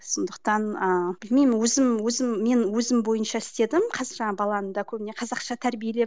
сондықтан ыыы білмеймін өзім өзім мен өзім бойынша істедім баланы да көбіне қазақша тәрбиелеп